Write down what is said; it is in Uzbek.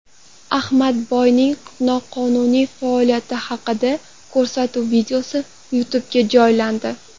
Ahmadboyning noqonuniy faoliyati haqidagi ko‘rsatuv videosi YouTube’ga joylandi .